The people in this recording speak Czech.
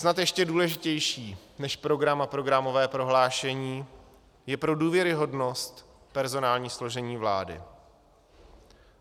Snad ještě důležitější než program a programové prohlášení je pro důvěryhodnost personální složení vlády.